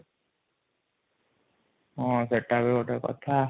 ହଁ ସେଟ ବି ଗୋଟେ କଥା |